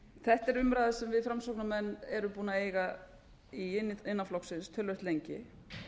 þetta er umræða sem við framsóknarmenn erum búnir að eiga innan flokksins töluvert lengi